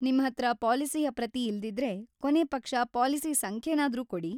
ನಿಮ್ಹತ್ರ ಪಾಲಿಸಿಯ ಪ್ರತಿ ಇಲ್ದಿದ್ರೆ ಕೊನೇ ಪಕ್ಷ ಪಾಲಿಸಿ ಸಂಖ್ಯೆನಾದ್ರೂ ಕೊಡಿ.